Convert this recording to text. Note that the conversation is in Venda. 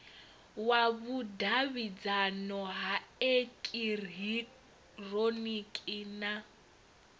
wa vhudavhidzano ha eekihironiki na